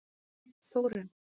Þórunn